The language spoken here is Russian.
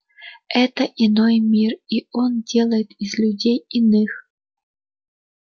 это иной мир и он делает из людей иных